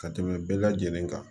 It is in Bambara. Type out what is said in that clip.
Ka tɛmɛ bɛɛ lajɛlen kan